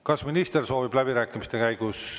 Kas minister soovib läbirääkimiste käigus?